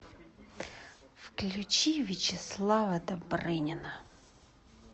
включи вячеслава добрынина